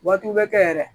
Waatiw bɛ kɛ yɛrɛ